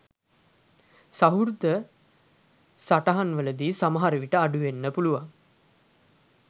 සහෘද සටහන්වලදී සමහර විට අඩු වෙන්න පුළුවන්.